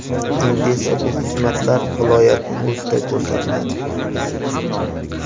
Endi esa bu xizmatlar viloyatning o‘zida ko‘rsatiladi”.